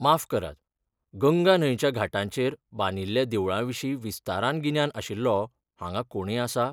माफ करात, गंगा न्हंयच्या घाटांचेर बांदिल्ल्या देवळां विशीं विस्तारान गिन्यान आशिल्लो हांगा कोणय आसा?